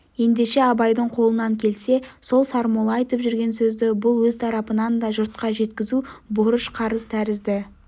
ендеше абайдың қолынан келсе сол сармолла айтып жүрген сөзді бұл өз тарапынан да жұртқа жеткізу борыш-қарыз тәрізді